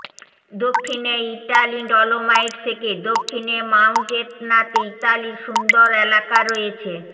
দক্ষিণে Italy dolomite থেকে দক্ষিণে মাউন্ট এটনাতে ইতালির সুন্দর এলাকা রয়েছে